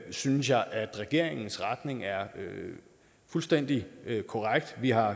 synes jeg at regeringens retning er fuldstændig korrekt vi har